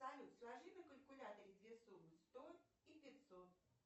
салют сложи на калькуляторе две суммы сто и пятьсот